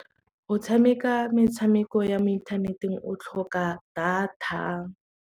Go tshameka metshameko ya mo inthaneteng o tlhoka data.